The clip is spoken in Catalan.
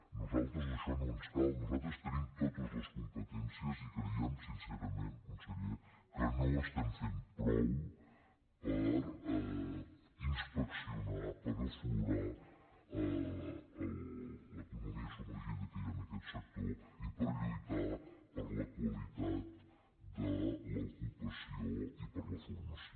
a nosaltres això no ens cal nosaltres tenim totes les competències i creiem sincerament conseller que no estem fent prou per inspeccionar per aflorar l’economia submergida que hi ha en aquest sector i per lluitar per la qualitat de l’ocupació i per la formació